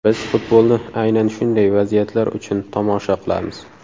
Biz futbolni aynan shunday vaziyatlar uchun tomosha qilamiz.